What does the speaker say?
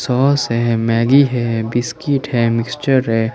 Sauce हैं Maggi है biscuit है मिक्सचर है।